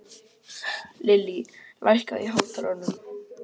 Lillý, lækkaðu í hátalaranum.